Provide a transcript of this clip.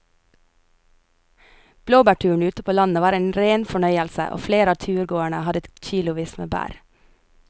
Blåbærturen ute på landet var en rein fornøyelse og flere av turgåerene hadde kilosvis med bær.